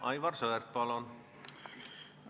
Aivar Sõerd, palun!